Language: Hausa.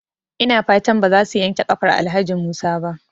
Ina fatan bazaso yankewa kafar Alhaji Musa ba?